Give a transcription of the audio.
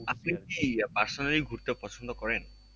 personally ঘুরতে পছন্দ করেন